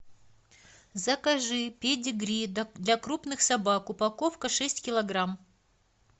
закажи педигри для крупных собак упаковка шесть килограмм